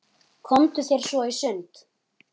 Komdu þér svo í sund.